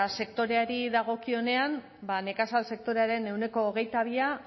sektoreari dagokionean ba nekazal sektorearen ehuneko hogeita bia